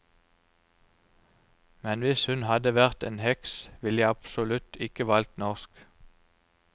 Men hvis hun hadde vært en heks, ville jeg absolutt ikke valgt norsk.